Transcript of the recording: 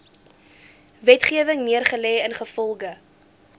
wetgewing neergelê ingevolge